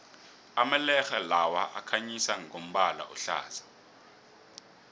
amalerhe lawa akhanyisa ngombala ohlaza